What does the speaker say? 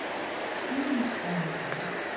Hún heimtaði það.